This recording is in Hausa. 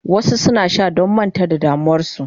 Wasu suna sha don manta da damuwarsu.